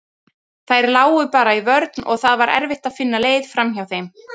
Þær lágu bara í vörn og það var erfitt að finna leið framhjá þeim.